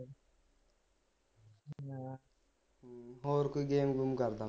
ਹਾਂ ਹੋਰ ਕੋਈ game ਗੂਮ ਕਰਦਾ